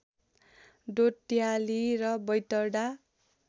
डोट्याली र बैतडा